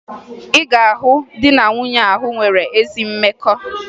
Ị ga-ahụ di na nwunye ahụ nwere ezi mmekọ